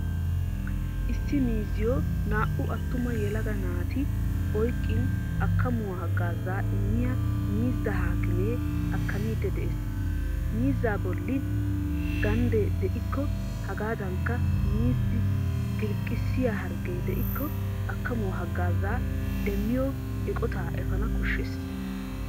Issi miizziyo naa"u attuma yelaga naati oyqqin akamuwaa hagaazaa immiya miizza haakime akamiidi de'ees. Miizza bollan gandde de'ikko hegadankka miizzi gilqqisiya hargge de'iko akamuwaa haggaza demmiyo eqqotta efaanawu koshshees.